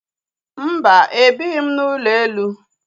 Mba, ebighị m n'ụlọ elu